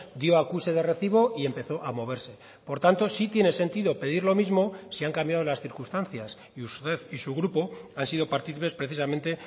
dio acuse de recibo y empezó a moverse por tanto sí tiene sentido pedir lo mismo si han cambiado las circunstancias y usted y su grupo han sido participes precisamente